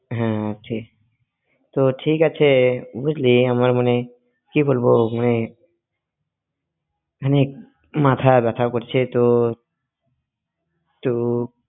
হ্যাঁ আছে ঠিক তো ঠিক আছে বুঝলি আমার মনে কি বলবো মানে মানে মাথা ব্যথা করছে তো তো